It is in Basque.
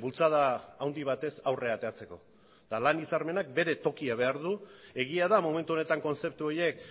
bultzada handi batez aurrera ateratzeko eta lan hitzarmenak bere tokia behar du egia da momentu honetan kontzeptu horiek